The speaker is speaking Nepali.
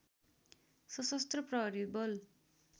सशस्त्र प्रहरी बल